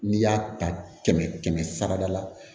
N'i y'a ta kɛmɛ kɛmɛ sara da la